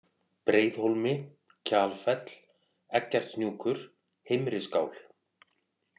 Breiðhólmi, Kjalfell, Eggertshnjúkur, Heimriskál